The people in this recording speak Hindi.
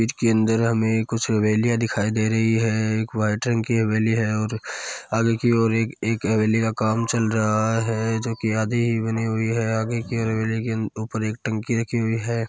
इसके अन्दर हमें कुछ हवे‍लिया दिखाई दे रही है एक व्‍हाईट रंग की हवेली है और आगे कि और एक हवेली का काम चल रहा है जो की आधी बनी हुई है आगे की और हवेली के ऊपर एक टंकी रखी हुई है।